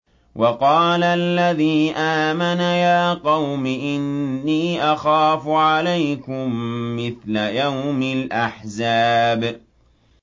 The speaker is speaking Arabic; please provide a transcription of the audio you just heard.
وَقَالَ الَّذِي آمَنَ يَا قَوْمِ إِنِّي أَخَافُ عَلَيْكُم مِّثْلَ يَوْمِ الْأَحْزَابِ